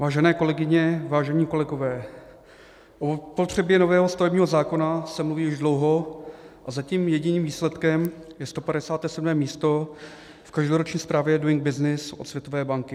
Vážené kolegyně, vážení kolegové, o potřebě nového stavebního zákona se mluví už dlouho, a zatím jediným výsledkem je 157. místo v každoroční zprávě Doing Business od Světové banky.